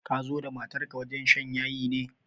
Ka zo da matar wajen shan yayi ne?